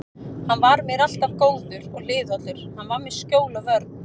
Hann var mér alltaf góður og hliðhollur, hann var mér skjól og vörn.